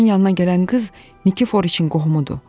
Onun yanına gələn qız Nikiforiçin qohumudur.